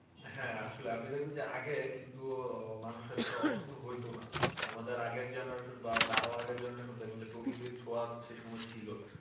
হ্যাঁ আসলে আপনি দেখবেন যে আগে কিন্তু মানুষ এতটা অসুস্থ হয়তো না আমাদের আগের Generation বা তারও আগের Generation দেখবেন যে প্রকৃতির ছোঁয়া সেসময় ছিল